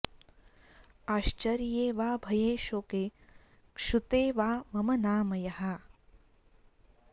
आश्चर्ये वा भये शोके क्षुते वा मम नाम यः